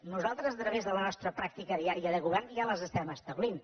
nosaltres a través de la nostra pràctica diària de govern ja les establim